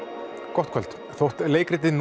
gott kvöld þótt leikritið